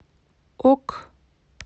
ок